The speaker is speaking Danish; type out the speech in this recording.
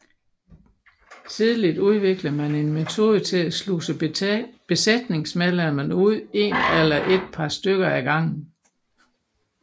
Tidligt udviklede man en metode til at sluse besætningsmedlemmerne ud en eller et par stykker ad gangen